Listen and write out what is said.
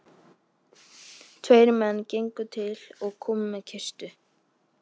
Tveir menn gengu til og komu með kistu.